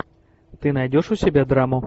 ты найдешь у себя драму